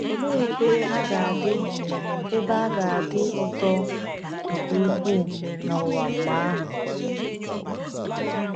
Olee ebe a ga-adị ebe a ga-adị ụtọ nke ukwuu n’ụwa mgbe ahụ!